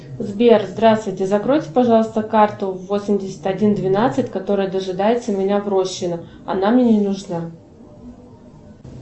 сбер здравствуйте закройте пожалуйста карту восемьдесят один двенадцать которая дожидается меня в рощино она мне не нужна